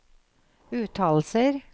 uttalelser